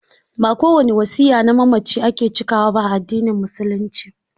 Ba ko wani wasiya na mamaci ake cikawa ba a addinin musulunci.